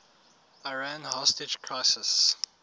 iran hostage crisis